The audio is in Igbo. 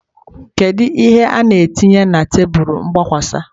Kedu ihe ị na-etinye na tebụl mgbakwasa?